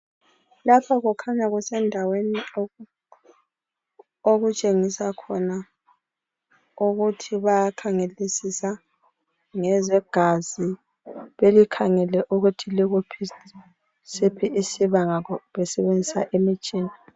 Lapha kukhanya kusendaweni okutshengisa khona ukuthi bayakhangelisisa ngezegazi belikhangele ukuthi likusiphi isibanga besebenzisa imitshina.